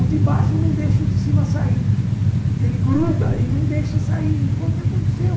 O de baixo não deixa o de cima sair, porque ele gruda e não deixa sair, e foi o que aconteceu.